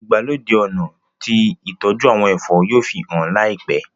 ìgbàlódé ọnà tí ìtọjú àwọn ẹfọ yóò fihàn láìpé.